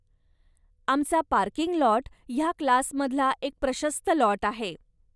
आमचा parking lot ह्या क्लासमधला एक प्रशस्त लाॅट आहे.